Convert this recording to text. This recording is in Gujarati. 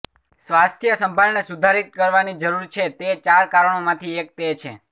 સ્વાસ્થ્ય સંભાળને સુધારિત કરવાની જરૂર છે તે ચાર કારણોમાંથી એક તે છે